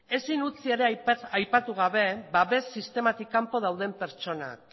ezin utzi ere aipatu gabe babes sistematik kanpo dauden pertsonak